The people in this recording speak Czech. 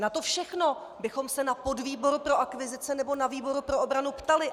Na to všechno bychom se na podvýboru pro akvizice nebo na výboru pro obranu ptali.